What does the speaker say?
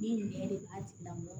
Min yɛrɛ de b'a tigi lamɔgɔ